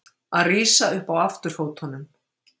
Að rísa upp á afturfótunum